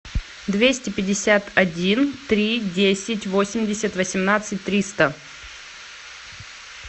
двести пятьдесят один три десять восемьдесят восемнадцать триста